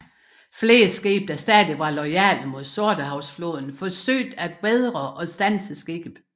Flere skibe der stadig var loyale mod Sortehavsflåden forsøgte at vædre og standse skibet